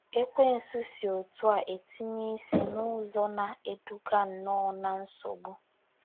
Ekwensu si otú a tinye isi n’ụzọ na - eduga nnọọ ná nsogbu.